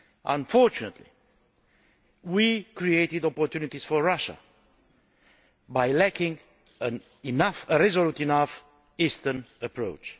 Unfortunately, we created opportunities for Russia by lacking a resolute enough eastern approach.